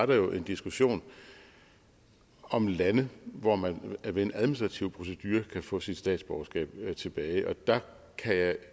der jo en diskussion om lande hvor man ved en administrativ procedure kan få sit statsborgerskab tilbage der kan